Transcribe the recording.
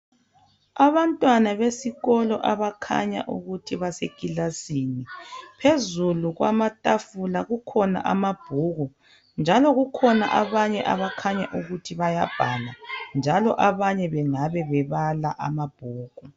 Abantwana besikolo abakhanya ukuthi basekilasini phezulu kwamatafula kukhona amabhuku njalo kukhona abanye abakhanya ukuthi bayabhala njalo abanye bengabe bebala amabhuku.